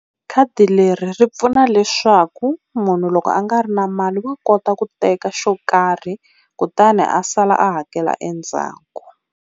Khadi leri ri pfuna leswaku munhu loko a nga ri na mali wa kota ku teka xo karhi kutani a sala a hakela endzhaku.